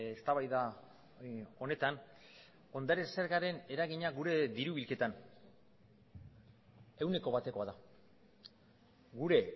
eztabaida honetan ondare zergaren eragina gure diru bilketan ehuneko batekoa da gure